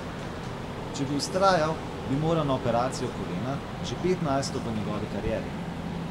Če bi vztrajal, bi moral na operacijo kolena, že petnajsto v njegovi karieri.